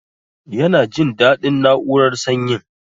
Yana jin dadin na'urar sanyin